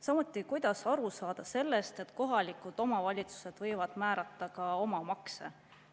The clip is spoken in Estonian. Samuti, kuidas aru saada sellest, et kohalikud omavalitsused võivad määrata ka oma makse?